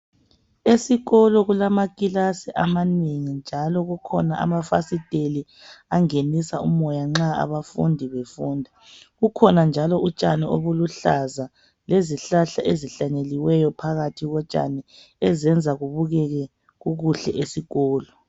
Esikolo kulamakilasi amanengi njalo kukhona amafasitela angenisa umoya nxa abafundi befunda. Kukhona njalo utshani obuluhlaza, lezihlahla ezihlanyeliweyo phakathi kotshani ezenza kubukeke kukuhle esikolo.